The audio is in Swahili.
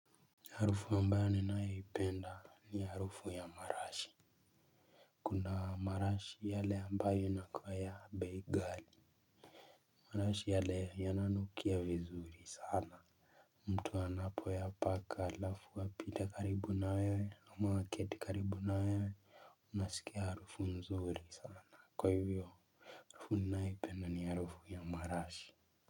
Harufu ambayo ninaipenda ni harufu ya marashi. Kuna marashi yale ambayo yana kuwa ya bei gali. Marashi yale yananukia vizuri sana. Mtu anapo ya paka alafu apite karibu na wewe ama waketi karibu na wewe. Unasikia harufu mzuri sana kwa hivyo. Harufu ninaipenda ni harufu ya marashi.